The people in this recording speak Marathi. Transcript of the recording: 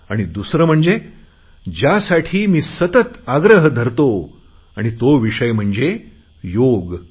आणि दुसरे म्हणजे ज्यासाठी मी सतत आग्रह धरतो तो विषय म्हणजे योग